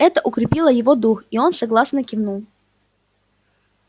это укрепило его дух и он согласно кивнул